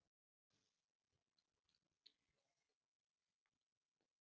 Hann sá ekki tilgang með lífinu eftir að konan hans yndislega var fallin frá.